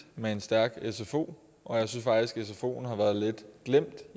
med en stærk sfo og jeg synes faktisk at sfoen har været lidt glemt